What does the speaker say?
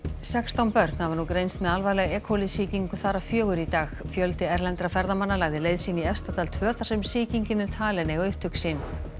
sextán börn hafa nú greinst með alvarlega e sýkingu þar af fjögur í dag fjöldi erlendra ferðamanna lagði leið sína í Efstadal tvö þar sem sýkingin er talin eiga upptök sín